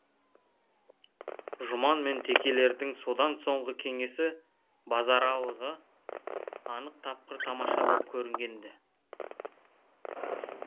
жұман мен текелердің содан соңғы кеңесі базаралыға анық тапқыр тамаша боп кәрінген ді